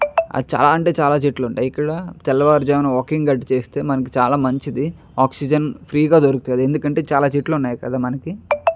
చాలా అంటే చాలా చెట్లు ఉంటాయి ఇక్కడ తెల్లవారుజామున వాకింగ్ గట్ట చెస్తే మనకి చాలా మంచిది ఆక్సిజన్ ఫ్రీ గా దొరుకుతుంది ఎందుకంటే చాలా చెట్లు వున్నాయి కద మనకి.